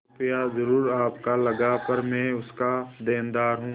रुपया जरुर आपका लगा पर मैं उसका देनदार हूँ